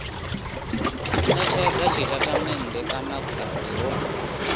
netshedza tshitatamennde kana vhutanzi ho